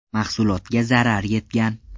Mahsulotga zarar yetgan.